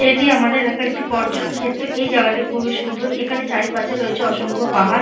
এটি আমাদের এলাকার একটি পর্যটন ক্ষেত্র এই জায়গাটি খুবই সুন্দর। এখানে চারিপাশে রয়েছে অসংখ্য পাহাড়--